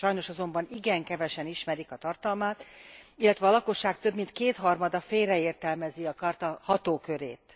Sajnos azonban igen kevesen ismerik a tartalmát, illetve a lakosság több mint kétharmada félreértelmezi a charta hatókörét.